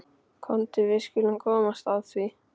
Komdu, við skulum komast að því.